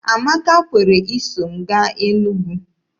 Amaka kwere iso m gaa Enugwu.